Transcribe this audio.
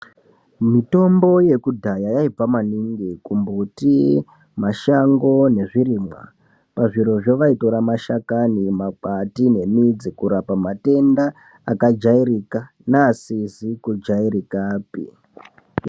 Mutombo yekudhaya yaibva maningi kumbuti, mashango nezvirimwa. Pazvirozvo vaitora mashakani, makwati nemidzi kurapa matenda akajairika neasizi kujairikapi.